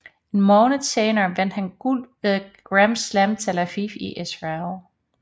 En måned senere vandt han guld ved Grand Slam Tel Aviv i Israel